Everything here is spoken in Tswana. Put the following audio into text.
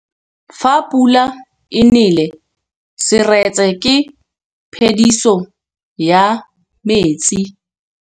Fa pula e nelê serêtsê ke phêdisô ya metsi.